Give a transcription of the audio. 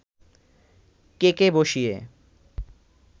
কেকে বসিয়ে